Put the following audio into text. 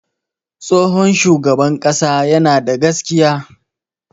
Tsohon shugaban ƙasa yana da gaskiya.